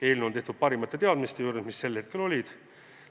Eelnõu on tehtud parimatest teadmistest lähtudes, mis sel hetkel olid.